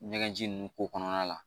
Ɲɛgɛnji ninnu ko kɔnɔna la